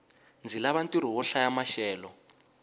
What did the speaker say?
ndzi lava ntirho wo hlaya maxelo